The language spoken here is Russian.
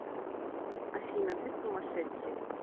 афина ты сумасшедший